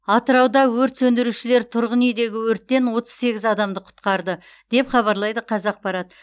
атырауда өрт сөндірушілер тұрғын үйдегі өрттен отыз сегіз адамды құтқарды деп хабарлайды қазақпарат